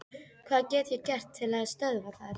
Hvað get ég gert til að stöðva það?